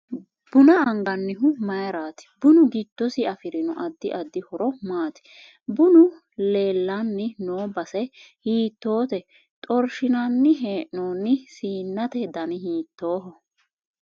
Buna anganihu mayiirati bunu giddosi afirino addi addi horo maati bunu leelani noo base hiitoote xorshinanni heenooni siinnate dani hiitooho